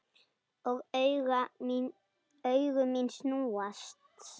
Og augu mín snúast.